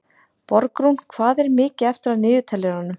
Borgrún, hvað er mikið eftir af niðurteljaranum?